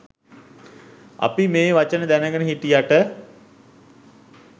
අපි මේ වචන දැනගෙන හිටියට